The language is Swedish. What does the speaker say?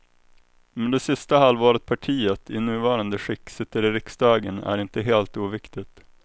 Men det sista halvåret partiet, i nuvarande skick, sitter i riksdagen är inte helt oviktigt.